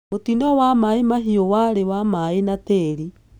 Mũtino wa Mai Mahiu warĩ wa maĩ na tĩri.